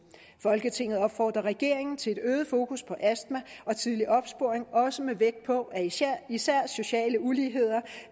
folketinget opfordrer regeringen til et øget fokus på astma og tidlig opsporing også med vægt på at især sociale uligheder